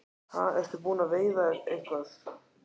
Ha, ertu búinn að veiða eitthvað?